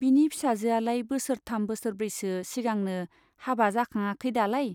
बिनि फिसाजोआलाय बोसोरथाम बोसोरब्रैसो सिगांनो हाबा जाखाङाखै दालाय ?